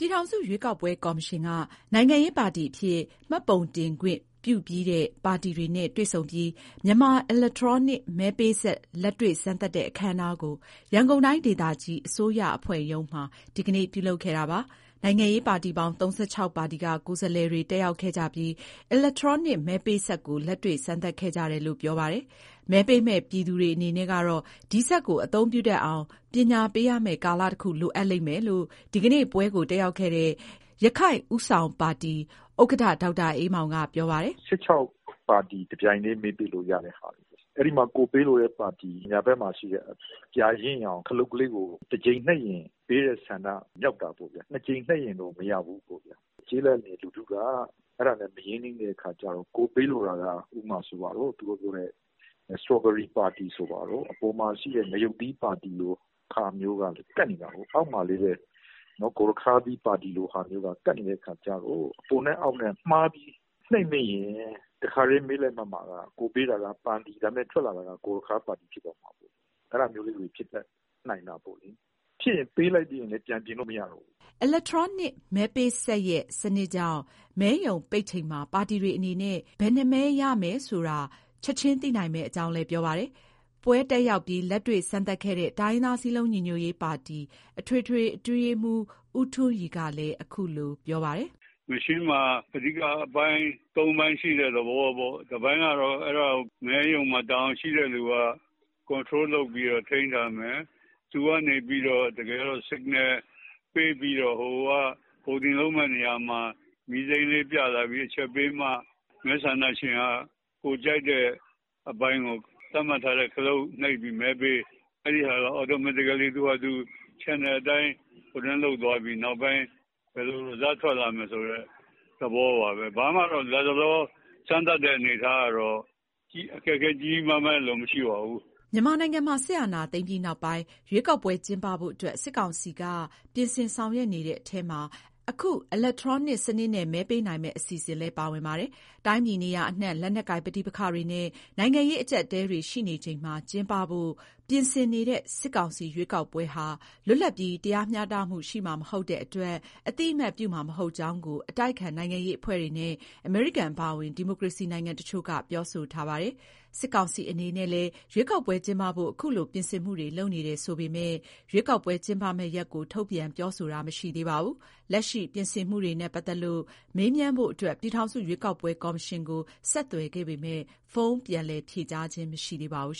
ြည်ထောင်စုရွေးကောက်ပွဲ ကော်မရှင် က နိုင်ငံရေးပါတီအဖြစ် မှတ်ပုံတင်ခွင့်ပြုပြီးတဲ့ ပါတီတွေနဲ့ တွေ့ဆုံပြီး မြန်မာအီလက်ထရောနစ် မဲပေးစက် လက်တွေ့စမ်းသပ်တဲ့ အခမ်းအနားကို ရန်ကုန်တိုင်းဒေသကြီး အစိုးရအဖွဲ့ရုံးမှာ ဒီကနေ့ ပြုလုပ်ခဲ့တာပါ။ နိုင်ငံရေးပါတီပေါင်း ၃၆ ပါတီက ကိုယ်စားလှယ်တွေ တက်ရောက်ခဲ့ကြပြီး အီလက်ထရောနစ် မဲပေးစက်ကို လက်တွေ့ စမ်းသပ်ခဲ့ကြတယ်လို့ ပြောပါတယ်။ မဲပေးမယ့် ပြည်သူတွေ အနေနဲ့ကတော့ ဒီစက်ကို အသုံးပြုတတ်အောင် ပညာပေးရမယ့် ကာလတခု လိုအပ်လိမ့်မယ်လို့ ဒီကနေ့ ပွဲကိုတက်ရောက်ခဲ့တဲ့ ရခိုင့်ဦးဆောင်ပါတီ ဥက္ကဋ္ဌ ဒေါက်တာအေးမောင်က ပြောပါတယ်။ "၁၆ ပါတီတပြိုင်တည်း မဲပေးလို့ ရတဲ့ဟာမျိုး။ အဲဒီမှာ ကိုယ်ပေးလိုတဲ့ပါတီ ညာဘက်မှာရှိတဲ့ အပြာရင့်ရောင် ခလုတ်ကို တကြိမ်နှိပ်ရင် ပေးတဲ့ဆန္ဒ မြောက်တာပေါ့ဗျာ။ နှစ်ကြိမ်နှိပ်ရင်တော့ မရဘူးပေါ့ဗျာ။ ကျေးလက်နေ လူထုက အဲ့ဒါနဲ့ မရင်းနှီးတဲ့အခါကျတော့ ကိုယ်ပေးလိုတာက ဥပမာဆိုပါစို့။ သူတို့ပြောတဲ့ စတော်ဘယ်ရီပါတီ ဆိုပါတော့။ အပေါ်မှာရှိတဲ့ ငရုတ်သီးပါတီလို ဟာမျိုးကလည်း ကပ်နေတာကို။ အောက်မှာလည်း ဂေါ်ရခါးသီးလို ပါတီမျိုးက ကပ်နေတဲ့အခါကျတော့ အပေါနဲ့ အောက်နဲ့ မှားပြီးနှိပ်မိရင် တခါတည်း မဲလက်မှတ်မှာက ကိုယ်ပေးလိုက်တာက ပန်းသီး၊ ဒါပေမဲ့ ထွက်လာတာက ဂေါ်ရခါးသီးပါတီ ဖြစ်သွားမှာပေါ့။ အဲ့ဒါမျိုးလေးတွေ ဖြတ်တတ်နိုင်တာပေါ့ဗျာ။ ဖြစ်ရင် ပေးလိုက်မိရင်လည်း ပြန်ပြင်လို့ မရတော့ဘူး။" အီလက်ထရောနစ် မဲပေးစက်ရဲ့ စနစ်ကြောင့် မဲရုံပိတ်ချိန်မှာ ပါတီတွေအနေနဲ့ ဘယ်နှစ်မဲရတယ်ဆိုတာ ချက်ချင်းသိနိုင်မယ့် အကြောင်းလည်း ပြောပါတယ်။ ပွဲတက်ရောက်ပြီး လက်တွေ့စမ်းသပ်ခဲ့တဲ့ တိုင်းရင်းသား စည်းလုံးညီညွတ်ရေးပါတီ အထွေထွေ အတွင်းရေးမှူး ဦးထွန်းရီကလည်း အခုလို ပြောပါတယ်။ "ဒီစက်မှာ အဓိက ၃ ပိုင်း ရှိတယ်ပေါ့။ တပိုင်းကတော့ အဲ့ဒါကို မဲရုံမှာ တာဝန်ရှိတဲ့သူက ထိန်းထားမယ်။ သူက မဲပေးတဲ့နေရာမှာ မီးစိမ်းပြ အချက်ပေးမှ မဲဆန္ဒရှင်က ကိုယ်ကြိုက်တဲ့ ပါတီကို သတ်မှတ်ထားတဲ့ ခလုတ်နှိပ်ပြီး မဲပေးပြီး အလိုအလျောက်စနစ်ပေါ့။ နောက်ပိုင်း ဘယ်လို ရလဒ်ထွက်မလဲ ဆိုတဲ့ သဘောပါပဲ။ လတ်တလော စမ်းသပ်တဲ့ အနေအထားကတော့ အခက်အခဲ ကြီးကြီးမားမားရယ်လို့ မရှိပါဘူး။" မြန်မာနိုင်ငံမှာ စစ်အာဏာသိမ်းပြီးနောက်ပိုင်း ရွေးကောက်ပွဲ ကျင်းပဖို့အတွက် စစ်ကောင်စီက ပြင်ဆင် ဆောင်ရွက်နေတဲ့ အထဲမှာ အခု အီလက်ထရောနစ် စနစ်နဲ့ မဲပေးနိုင်မယ့် အစီအစဉ်လည်း ပါဝင်ပါတယ်။ တိုင်းပြည်နေရာအနှံ့ လက်နက်ကိုင် ပဋိပက္ခတွေနဲ့ နိုင်ငံရေး အကျပ်အတည်းတွေ ရှိနေချိန်မှာ ကျင်းပဖို့ ပြင်ဆင်နေတဲ့ စစ်ကောင်စီ ရွေးကောက်ပွဲဟာ လွတ်လပ်ပြီး တရားမျှတမှု ရှိမှာမဟုတ်တဲ့အတွက် အသိအမှတ်ပြုမှာ မဟုတ်ကြောင်းကို အတိုက်အခံ နိုင်ငံရေးအဖွဲ့တွေနဲ့ အမေရိကန် အပါအဝင် ဒီမိုကရေစီနိုင်ငံ တချို့က ပြောဆိုထားပါတယ်။ စစ်ကောင်စီအနေနဲ့လည်း ရွေးကောက်ပွဲကျင်းပဖို့ ခုလို ပြင်ဆင်မှုတွေ လုပ်နေတယ်ဆိုပေမဲ့လည်း ရွေးကောက်ပွဲ ကျင်းပမယ့်ရက်ကို ထုတ်ပြန် ပြောဆိုတာ မရှိသေးပါဘူး။ လက်ရှိ ပြင်ဆင်မှုတွေနဲ့ပတ်သက်ပြီး မေးမြန်းဖို့အတွက် ပြည်ထောင်စု ရွေးကောက်ပွဲကော်မရှင်ကို ဆက်သွယ်ခဲ့ပေမဲ့ ဖုန်းပြန်လည်ဖြေကြားတာ မရှိသေးပါဘူး